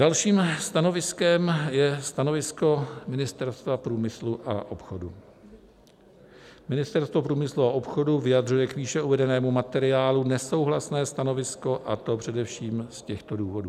Dalším stanoviskem je stanovisko Ministerstva průmyslu a obchodu: "Ministerstvo průmyslu a obchodu vyjadřuje k výše uvedenému materiálu nesouhlasné stanovisko, a to především z těchto důvodů.